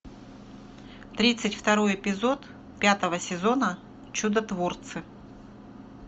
тридцать второй эпизод пятого сезона чудотворцы